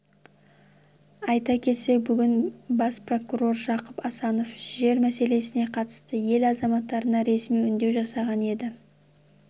айта кетсек бүгін бас прокурор жақып асанов жер мәселесіне қатысты ел азаматтарына ресми үндеу жасаған еді